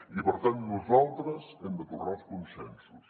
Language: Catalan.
i per tant nosaltres hem de tornar als consensos